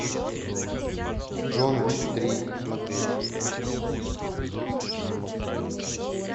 джон уик три смотреть